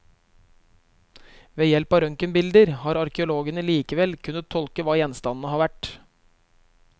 Ved hjelp av røntgenbilder har arkeologene likevel kunnet tolke hva gjenstandene har vært.